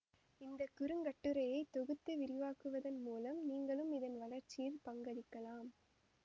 இந்த குறுங்கட்டுரையை தொகுத்து விரிவாக்குவதன் மூலம் நீங்களும் இதன் வளர்ச்சியில் பங்களிக்கலாம்